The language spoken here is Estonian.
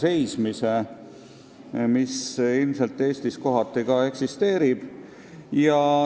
Ilmselt see diskrimineerimine Eestis kohati eksisteerib.